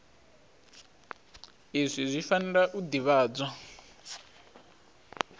izwi zwi fanela u ḓivhadzwa